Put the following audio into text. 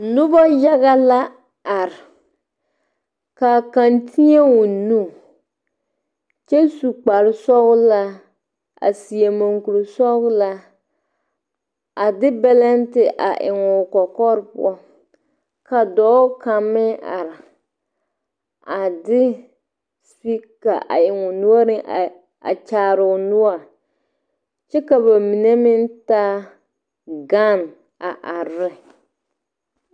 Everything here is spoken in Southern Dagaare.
Nuba yaga la arẽ ka kang tee ɔ nu kye su kpare sɔgla a seɛ mgaakuri sɔglaa a di belente a en ɔ kɔkɔre puo ka doɔ kan meng arẽ a de speaker a en ɔ noɔring a kyaare ɔ nɔɔri kye ka ba mene meng taa gan a arẽe.